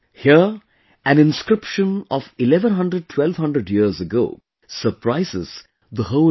Here an inscription of 11001200 years ago surprises the whole world